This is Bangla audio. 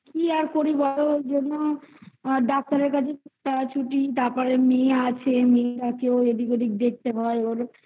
কি আর করি বলো ওই জন্য আ doctor -এর কাছে তারা ছুটি তারপরে মেয়ে আছে কেউ এদিক ওদিক দেখতে পায় ওর